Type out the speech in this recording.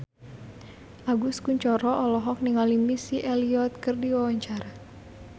Agus Kuncoro olohok ningali Missy Elliott keur diwawancara